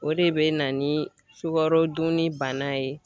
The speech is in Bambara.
O de bɛ na ni sukaro dunni bana ye.